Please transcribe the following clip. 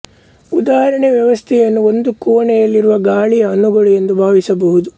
ಉದಾಹರಣೆಗೆ ವ್ಯವಸ್ಥೆಯನ್ನು ಒಂದು ಕೋಣೆಯಲ್ಲಿರುವ ಗಾಳಿಯ ಅಣುಗಳು ಎಂದು ಭಾವಿಸಬಹುದು